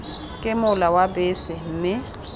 ke mola wa bese mme